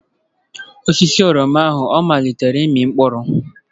Osisi oroma ahụ ọ amalitela ịmị mkpụrụ?